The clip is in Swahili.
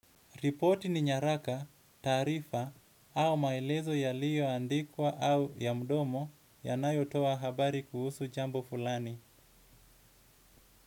Reporti ni nyaraka, tarifa au maelezo ya liyo andikwa au ya mdomo ya nayotoa habari kuhusu jambo fulani.